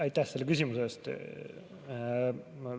Aitäh selle küsimuse eest!